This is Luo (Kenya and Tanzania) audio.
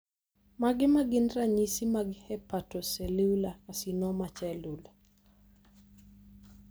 Mage magin ranyisi mag Hepatocellular carcinoma, childhood